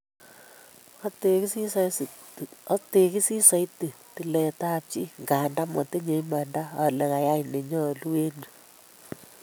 "Ategisii soiti tiletab chi ngandan motinye imanda ale kayai ne nyolu en yu